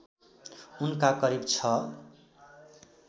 उनका करिब ६